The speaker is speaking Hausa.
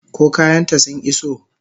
Ko kayan ta sun iso?